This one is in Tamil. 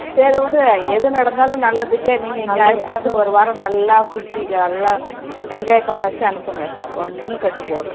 சரி விடு அது நடந்தாலும் நல்லதுக்கே நீங்க இங்க அழைச்சிட்டு வந்து இரு வாரம் நல்லா சுத்திட்டு நல்லா பண்ண வச்சி அனுப்புங்க ஒன்னும் கேட்டு போகல